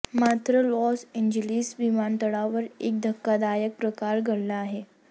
मात्र Los Angeles विमानतळावर एक धक्कादायक प्रकार घडला आहे